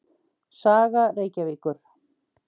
Saga Reykjavíkur.